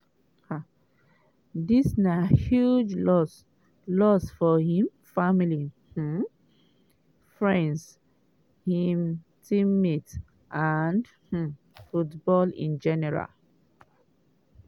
um dis na huge loss loss for im family um friends im teammates and um football in general.